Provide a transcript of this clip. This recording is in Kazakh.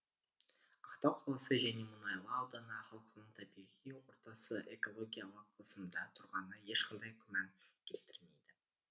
ақтау қаласы және мұнайлы ауданы халқының табиғи ортасы экологиялық қысымда тұрғаны ешқандай күмән келтірмейді